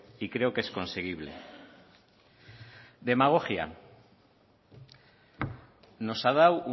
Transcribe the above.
y creo que es conseguible demagogia nos ha dado